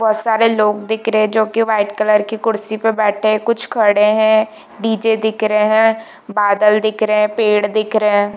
बहुत सारे लोग दिख रहे है जो की वाइट कलर की कुर्सी पे बैठे है कुछ खड़े है डी.जे दिख रहे है बादल दिख रहे है पेड़ दिख रहे है।